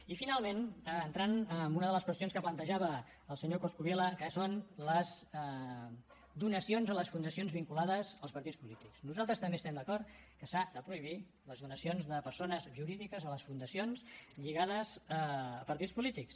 i finalment entrant en una de les qüestions que plantejava el senyor coscubiela que són les donacions a les fundacions vinculades als partits polítics nosaltres també estem d’acord que s’han de prohibir les donacions de persones jurídiques a les fundacions lligades a partits polítics